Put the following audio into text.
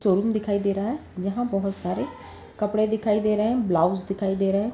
Showroom दिखाई दे रहा है जहा बहुत सारे कपड़े दिखाई दे रहे है| ब्लॉउस दिखाई दे रहे है।